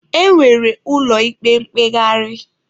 E nwere ụlọ ikpe mkpegharị.